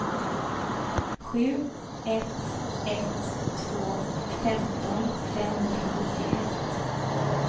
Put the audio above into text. sju ett ett två femton femhundrasjuttioett